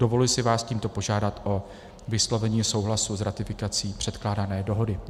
Dovoluji si vás tímto požádat o vyslovení souhlasu s ratifikací předkládané dohody.